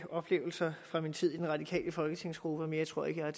oplevelser fra min tid i den radikale folketingsgruppe mere tror jeg